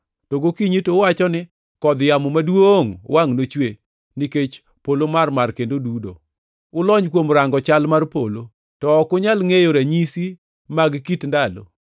to gokinyi to uwacho ni, ‘Kodh yamo maduongʼ wangʼ nochwe nikech polo mamarmar kendo dudo.’ Ulony kuom rango chal mar polo, to ok unyal ngʼeyo ranyisi mag kit ndalo.